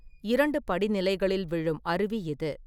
இரண்டு படிநிலைகளில் விழும் அருவி இது.